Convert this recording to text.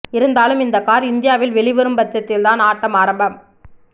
இருந்தாலும் இந்த கார் இந்தியாவில் வெளிவரும் பட்சத்தில் தான் ஆட்டம் ஆரம்பம்